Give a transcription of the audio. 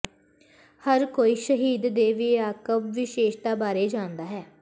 ਹਰ ਕੋਈ ਸ਼ਹਿਦ ਦੇ ਵਿਆਪਕ ਵਿਸ਼ੇਸ਼ਤਾ ਬਾਰੇ ਜਾਣਦਾ ਹੈ